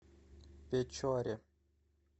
печоре